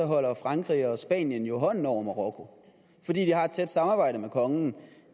holder frankrig og spanien jo hånden over marokko fordi de har et tæt samarbejde med kongen